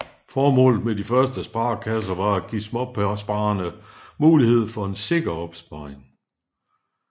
Formålet med de første sparekasser var at give småsparerne mulighed for en sikker opsparing